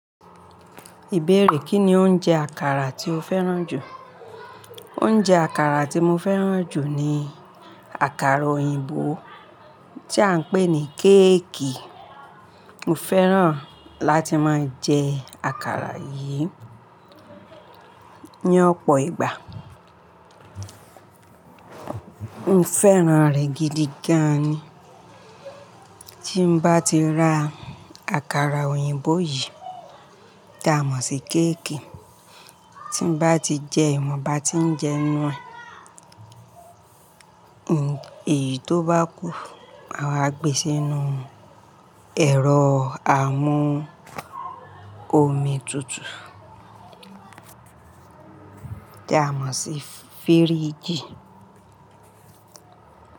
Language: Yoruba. Ìbéèrè: Kí ni oúnjẹ àkàrà tí o fẹ́ràn jù? Oúnjẹ àkàrà tí mo fẹ́ràn jù ni àkàrà òyìnbó tí a ń pè ní kéèkì. Mo fẹ́ràn láti máa jẹ àkàrà yìí ní ọ̀pọ̀ ìgbà. Mo fẹ́ràn rẹ̀ gidi gan ni. Tí mo bá ti rà àkàrà òyìnbó yìí tí a mọ̀ sí keékì, tí mo bá ti jẹ ẹ, mo bá ti jẹ nu eh, èyí tó bá kù, à wa gbé sínú ẹ̀rọ amú omi tutù tí a mọ̀ sí fíríjì.